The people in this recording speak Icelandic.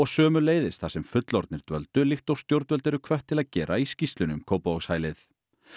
sömuleiðis þar sem fullorðnir dvöldu líkt og stjórnvöld eru hvött til að gera í skýrslunni um Kópavogshælið